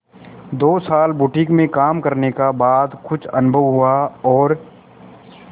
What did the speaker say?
दो साल बुटीक में काम करने का बाद कुछ अनुभव हुआ और